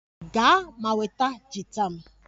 Gaa ma nweta gita m!